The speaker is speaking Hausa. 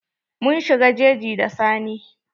Mun shiga jeji da Sani.